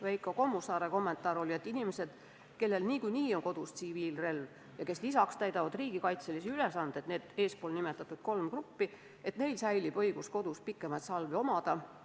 Veiko Kommusaare kommentaar oli, et neil inimestel, kellel niikuinii on kodus tsiviilrelv ja kes täidavad ka riigikaitselisi ülesandeid – eespool nimetatud kolm gruppi –, säilib õigus kodus pikemaid salvi omada.